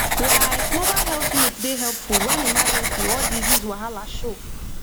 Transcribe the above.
like mobile health unit dey helpful when emergency or disease wahala show